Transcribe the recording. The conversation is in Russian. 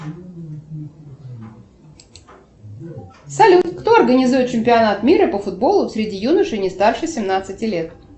салют кто организует чемпионат мира по футболу среди юношей не старше восемнадцати лет